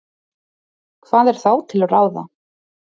Hvað er þá til ráða?